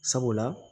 Sabula